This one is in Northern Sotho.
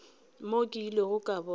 mo ke ilego ka bona